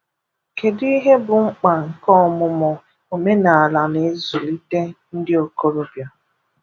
Kedu ihe bụ mkpa nke ọmụmụ omenaala n’ịzụlite ndị ntorobịa?